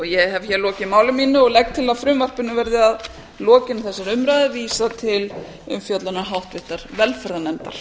ég hef hér lokið máli mínu og legg til að frumvarpinu verði að lokinni þessari umræðu vísað til umfjöllunar háttvirtrar velferðarnefndar